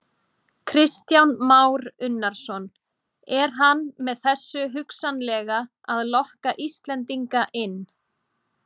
Kristján Már Unnarsson: Er hann með þessu hugsanlega að lokka Íslendinga inn?